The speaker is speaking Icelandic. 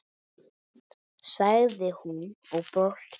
sagði hún og brosti.